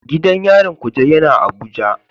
Gidan yarin Kuje yana Abuja.